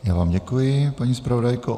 Já vám děkuji, paní zpravodajko.